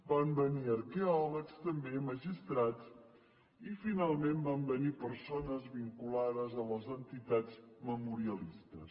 van venir arqueòlegs també magistrats i finalment van venir persones vinculades a les entitats memorialistes